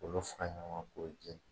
K'olu fara ɲɔgɔn kan k'olu jɛni.